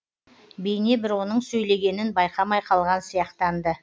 бейне бір оның сөйлегенін байқамай қалған сияқтанды